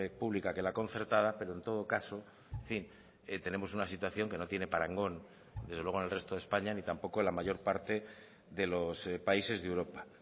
pública que la concertada pero en todo caso en fin tenemos una situación que no tiene parangón desde luego en el resto de españa ni tampoco en la mayor parte de los países de europa